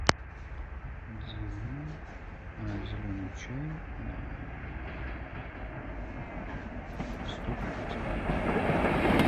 дилма зеленый чай сто пакетиков